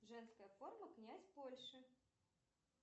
женская форма князь польши